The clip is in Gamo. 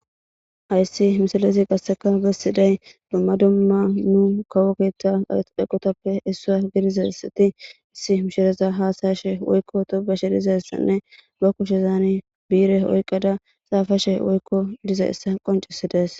Hays misilez qaseka besidays dumma dumma kawo ketha eqoytappe issinaza gidishe mishiraza hasa'ashe woyko tobashenne ba kushezan bi'ire oykada xafashe woyko dizaysa qoncises.